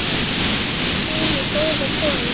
Guð geymi góða konu.